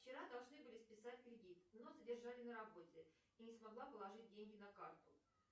вчера должны были списать кредит но задержали на работе и не смогла положить деньги на карту